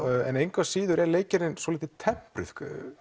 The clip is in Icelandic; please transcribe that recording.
engu að síður er leikgerðin svolítið tempruð